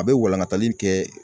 A bɛ walankatali kɛ